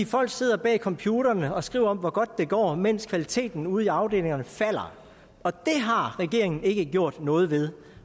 folk sidder bag computerne og skriver om hvor godt det går mens kvaliteten ude i afdelingerne falder og det har regeringen ikke gjort noget ved